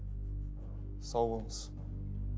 сау болыңыз